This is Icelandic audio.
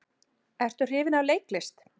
Ertu hrifinn af leiklist?